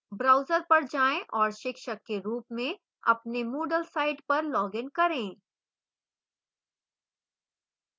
browser पर जाएँ और शिक्षक के रूप में अपने moodle site पर login करें